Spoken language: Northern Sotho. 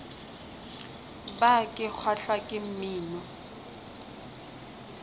bar ke kgahlwa ke mmino